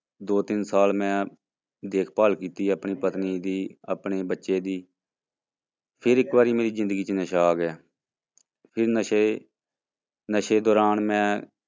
ਦੋ ਤਿੰਨ ਸਾਲ ਮੈਂ ਦੇਖ ਭਾਲ ਕੀਤੀ ਆਪਣੀ ਪਤਨੀ ਦੀ, ਆਪਣੇ ਬੱਚੇ ਦੀ ਫਿਰ ਇੱਕ ਵਾਰੀ ਮੇਰੀ ਜ਼ਿੰਦਗੀ ਚ ਨਸ਼ਾ ਆ ਗਿਆ ਤੇ ਨਸ਼ੇ ਨਸ਼ੇ ਦੌਰਾਨ ਮੈਂ